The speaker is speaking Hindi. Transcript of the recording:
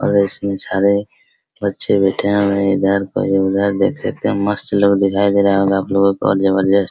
और इसमें सारे बच्चे बैठे है और कोई इधर तो कोई उधर देख सकते है मस्त लोग दिखाई दे रहे होंगे आप सब को।